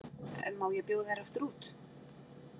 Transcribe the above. Má ég bjóða þér aftur út?